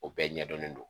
O bɛɛ ɲɛdɔnnen don